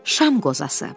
Şam qozası.